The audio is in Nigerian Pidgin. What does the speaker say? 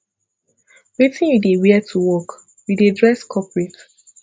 wetin you dey wear to work you dey dress corporate